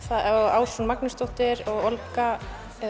Ásrún Magnúsdóttir og Olga